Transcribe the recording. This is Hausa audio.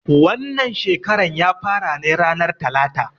Wannan shekaran ya fara ne ranan talata.